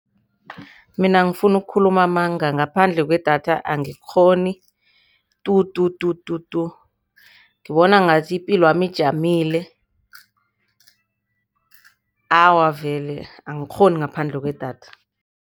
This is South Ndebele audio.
Mina angifuni ukukhuluma amanga, ngaphandle kwedatha angikghoni tu tu tu tu tu, ngibona ngathi ipilwami ijamile. Awa vele angikghoni ngaphandle kwedatha.